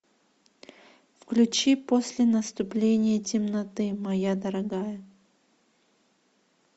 включи после наступления темноты моя дорогая